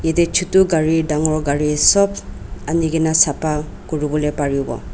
yate chotu gari dangor gari sob ani kena sapha kuribole paribo.